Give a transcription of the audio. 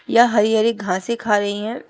यह हरी हरी घासे खा रही हैं।